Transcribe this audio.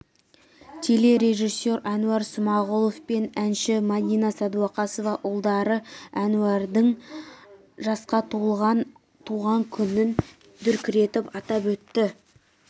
телережиссер әнуар смағұлов пен әнші мадина сәдуақасова ұлдары әнуардың жасқа толған туған күнін дүркіретіп атап өтті